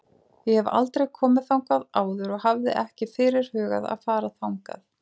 Ég hef aldrei komið þangað áður og hafði ekki fyrirhugað að fara þangað.